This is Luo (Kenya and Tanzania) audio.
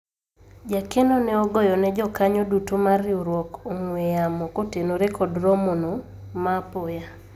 jakeno ne ogoyone jokanyo duto mar riwruok ong'we yamo kotenore kod romo no ma apoya